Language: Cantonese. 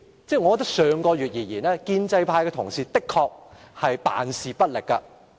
就上月而言，建制派同事的確是辦事不力。